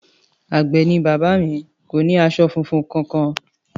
Àgbẹ̀ ni bàbá mi, kò ní aṣọ funfun kankan